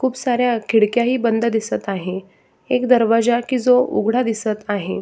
खूप साऱ्या खिडक्याही बंद दिसत आहे एक दरवाजा की जो उघडा दिसत आहे.